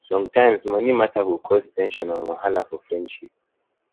sometimes money matter go cause ten sion and wahala for friendship